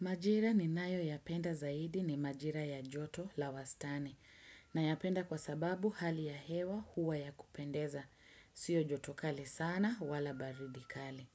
Majira ni nayopenda zaidi ni majira ya joto la wastani nayapenda kwa sababu hali ya hewa huwa ya kupendeza. Sio joto kali sana wala baridi kali.